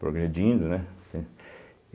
Progredindo, né?